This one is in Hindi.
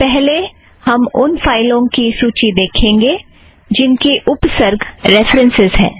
पहले हम उन फ़ाइलों की सूची देखेंगे जिनकी उपसर्ग रेफ़रन्सस् है